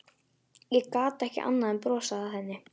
Ég gat ekki annað en brosað að henni.